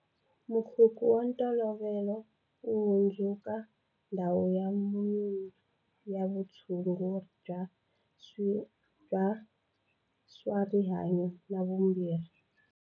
Mukhukhu wa ntolovelo wu hundzuka ndhawu ya manyunyu ya vutshunguri bya swa rihanyu na vumbirhi.